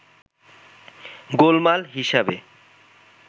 গোলমাল হিসেবে